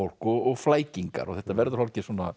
og flækingar og þetta verður hálfgerð